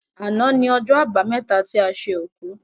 Àná ni ọjọ́ àbámẹ́ta ti a ṣe òkú.